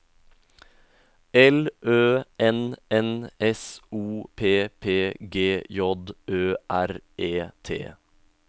L Ø N N S O P P G J Ø R E T